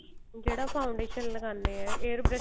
ਜਿਹੜਾ foundation ਲਗਾਨੇ ਏ air brush